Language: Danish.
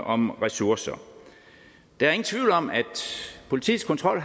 om ressourcer der er ingen tvivl om at politiets kontrol